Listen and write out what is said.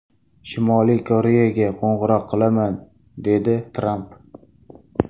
Shimoliy Koreyaga qo‘ng‘iroq qilaman”, dedi Tramp.